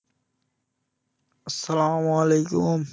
আস্সালামালাইকুম